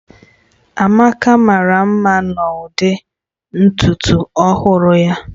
Amaka mara mma n'ụdị ntutu ọhụrụ ya